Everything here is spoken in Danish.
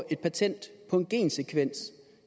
et patent på en gensekvens